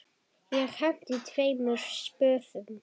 Ég henti tveimur spöðum.